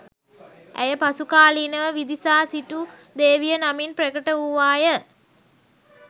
ඇය පසු කාලීනව විදිසා සිටු දේවිය නමින් ප්‍රකට වූවාය